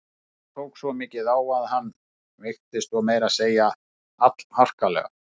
En þetta tók svo mikið á hann að hann veiktist og meira að segja allharkalega.